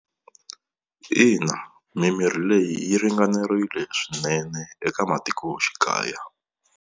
Ina mimirhi leyi yi ringanerile swinene eka matikoxikaya.